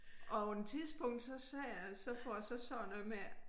Og på en tidspunkt så sagde jeg så får jeg så sagt noget med